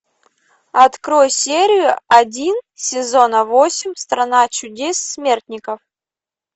открой серию один сезона восемь страна чудес смертников